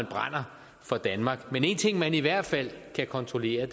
brænder for danmark men en ting man i hvert fald kan kontrollere